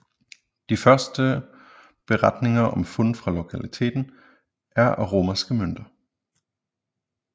De første beretninger om fund fra lokaliteten er af romerske mønter